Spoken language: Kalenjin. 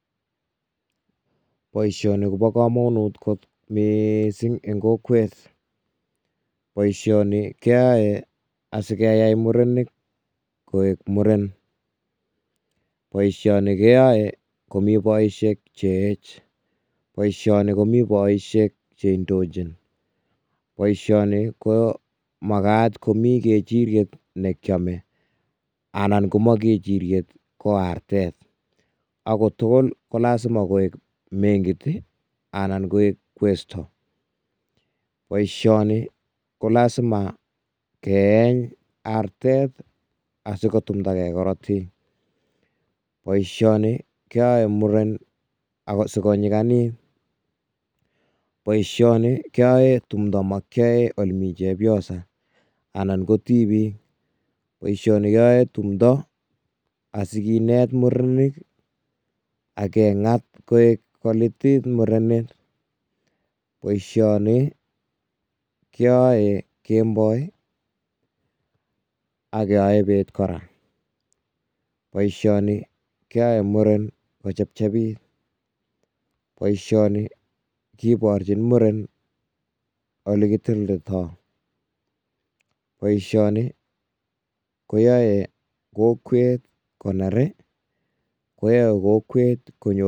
Boisioni kobo kamanut kot miising eng kokwet. Boisioni keyae murenik koek muren. Boisioni keyae komi boisiek che eech. Boisioni komi boisiek che indochin. Boisioni ko makat komi kechiriet ne kiame anan ngomami kechiriet ko artet. Ago tugul kolasima koek mengit ii anan koek kwesto. Boisioni kolasima keeny artet, asigotumndage karotik. Boisioni keyoe muren ago sigonyiganit. Boisioni keyoe tumndo makiyae olemi chepiosa anan ko tibik. Boisioni keyoen tumndo asikinet murenik ak kengat koek kolitit murenet. Boisioni keyoe kemboi ak keyoe bet kora. Boisioni keyae muren kochepchepit. Boisioni kiborchin muren olegiteleltoo. Boisioni koyae kokwet koner ii, koyae kokwet konyor.